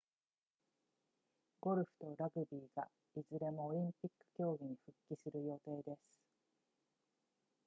ゴルフとラグビーがいずれもオリンピック競技に復帰する予定です